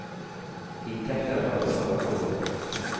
Inntekter har de bare halve året.